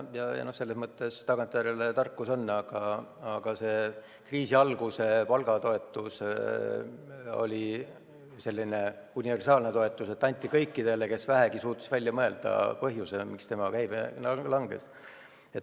Eks see tagantjärele tarkus ole, aga see kriisi alguse palgatoetus oli selline universaalne toetus, mida anti kõikidele, kes vähegi suutsid välja mõelda põhjuse, miks nende käive langes.